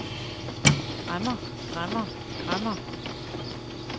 græmmer græmmer græmmer